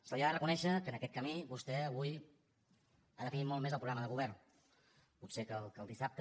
se li ha de reconèixer que en aquest camí vostè avui ha definit molt més el programa de govern potser que el dissabte